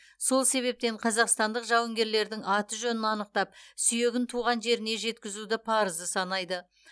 сол себептен қазақстандық жауынгерлердің аты жөнін анықтап сүйегін туған жеріне жеткізуді парызы санайды